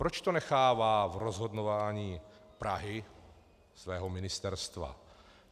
Proč to nechává v rozhodování Prahy, svého ministerstva?